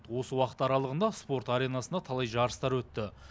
осы уақыт аралығында спорт аренасында талай жарыстар өтті